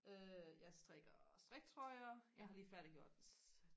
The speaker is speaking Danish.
øh jeg strikker striktrøjer jeg har lige færdiggjort